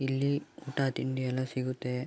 ಇಲ್ಲಿ ಊಟ ತಿಂಡಿ ಎಲ್ಲ ಸಿಗುತ್ತೆ.